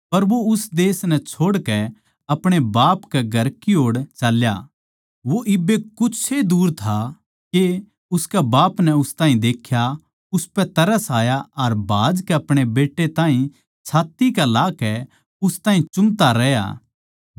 पर वो उस देश नै छोड़ के अपणे बाप कै घर की ओड़ चाल्या वो इब्बे कुछ ए दुर था के उसकै बाप नै उस ताहीं देख्या उसपै तरस आया अर भाजकै अपणे बेट्टे ताहीं छात्त्ती कै लगाकै उस ताहीं चुम्ता रह्या